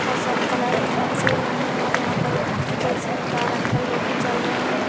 बहोत सारे कलर है इन सीढ़ियो में और यहां पर दो स दार अंकल लोग भी चल रहे है।